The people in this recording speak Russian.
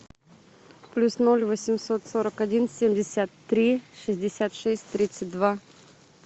плюс ноль восемьсот сорок один семьдесят три шестьдесят шесть тридцать два